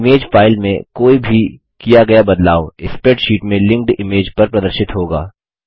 image file में कोई भी किया गया बदलाव स्प्रैडशीट में लिंक्ड इमेज पर प्रदर्शित होगा